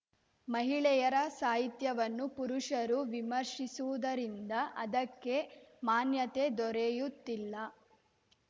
ಮಹಿಳೆಯರ ಸಾಹಿತ್ಯವನ್ನು ಪುರುಷರು ವಿಮರ್ಶಿಸುವುದರಿಂದ ಅದಕ್ಕೆ ಮಾನ್ಯತೆ ದೊರೆಯುತ್ತಿಲ್ಲ